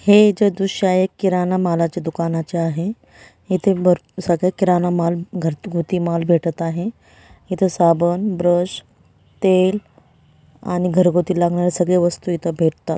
हे जो दृश्य आहे किराणा मालाचे दुकानाचे आहे येथे बर सगळं किराणा माल घरगुती माल भेटत आहे इथ साबण ब्रश तेल आणि घरगुती लागणारे सगळे वस्तु इथ भेटतात.